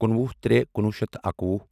کُنوُہ ترے کُنوُہ شیٚتھ تہٕ اکوُہ